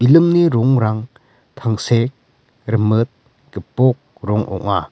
balloon-ni rongrang tangsek rimit gipok rong ong·a.